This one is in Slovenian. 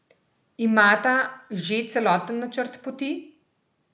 Imata že celoten načrt poti?